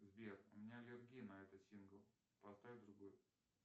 сбер у меня аллергия на этот сингл поставь другой